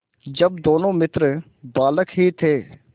जब दोनों मित्र बालक ही थे